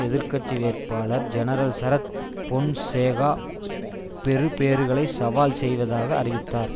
எதிர் கட்சி வேட்பாளர் ஜெனரல் சரத் பொன்சேகா பெறுபேறுகளை சவால் செய்வதாக அறிவித்தார்